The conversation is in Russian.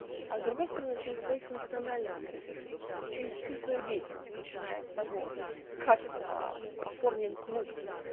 а с другой стороны через свои функциональные стратегии через всю свою деятельность начиная от того как аа оформлен клуб